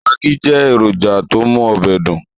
Magí jẹ́ èrònjà tó mú ọbẹ̀ dùn